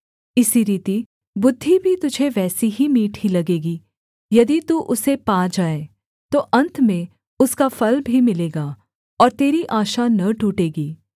इसी रीति बुद्धि भी तुझे वैसी ही मीठी लगेगी यदि तू उसे पा जाए तो अन्त में उसका फल भी मिलेगा और तेरी आशा न टूटेगी